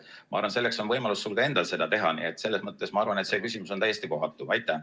Ma arvan, et sul on ka endal võimalus seda teha, nii et selles mõttes ma arvan, et see küsimus on täiesti kohatu.